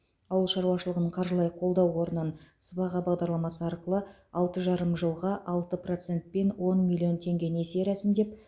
ауыл шаруашылығын қаржылай қолдау қорынан сыбаға бағдарламасы арқылы алты жарым жылға алты процентпен он миллион теңге несие рәсімдеп